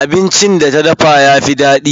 Abincin da ta dafa yafi daɗi.